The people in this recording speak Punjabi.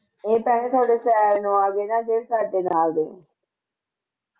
ਏ ਤਾਂ ਹੈ ਸਾਡੇ ਨਾਲ ਦੇ ਨਾ ਸਾਡੇ ਨਾਲ ਦੇ